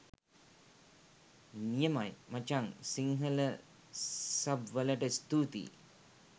නියමයි මචං සිංහල සබ් වලට ස්තූතියි.